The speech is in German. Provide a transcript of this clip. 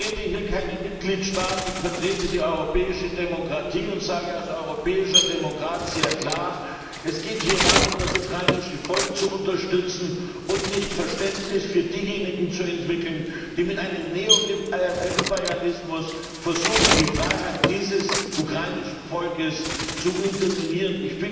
Ich vertrete hier keinen Mitgliedstaat, ich vertrete die europäische Demokratie und sage als europäischer Demokrat sehr klar Es geht hier darum, das ukrainische Volk zu unterstützen und nicht Verständnis für diejenigen zu entwickeln, die mit einem Neoimperialismus versuchen, die Freiheit dieses ukrainischen Volkes zu unterminieren.